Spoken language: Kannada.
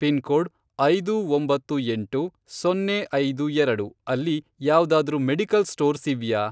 ಪಿನ್ಕೋಡ್, ಐದು ಒಂಬತ್ತು ಎಂಟು, ಸೊನ್ನೆ ಐದು ಎರಡು, ಅಲ್ಲಿ ಯಾವ್ದಾದ್ರೂ ಮೆಡಿಕಲ್ ಸ್ಟೋರ್ಸ್ ಇವ್ಯಾ?